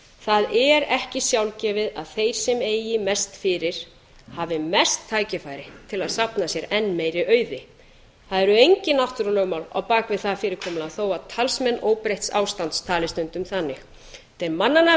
það er ekki sjálfgefið að þeir sem eigi mest fyrir hafi mest tækifæri til að safna sér en meiri auði það eru engin náttúrulögmál á bak við það fyrirkomulag þó að talsmenn óbreytts ástands tali stundum þannig þetta er barnanna